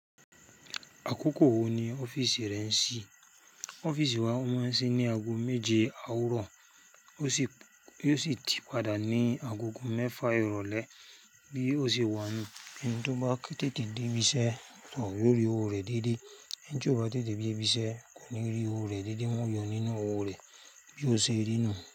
Àkókò wo ni ọ́fíìsì rẹ ń ṣí? Ọ́fíìsì wa máa ń ṣí ní aago méje àárọ̀, o si ó sì ti padà ní agogo mẹ́fà ìrọ̀lẹ́ bí ó ṣe wà ní ẹni tó bá tètè dé ibi iṣẹ́ yó rí owó rẹ̀ déédéé ẹni tí ò bá tètè dé ibi iṣẹ́ kò ní rí owó rẹ̀ déédéé wọ́n yọ nínú owó rẹ̀ bí ó ṣe rí nú n.